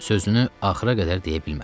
Sözünü axıra qədər deyə bilmədi.